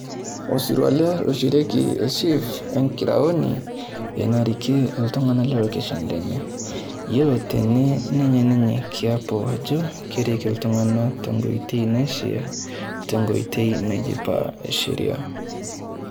olsiruaa ele oishorieki chief enkiraoni narikiee iltuganak le location wore tenee nenya ninye kiapo njere kerik iltunganak tenkoitoi naishaa tenkoitoi nadipa sheria